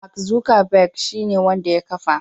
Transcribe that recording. Mark Zuckerberg shine wanda ya kafa.